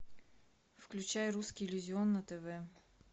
включай русский иллюзион на тв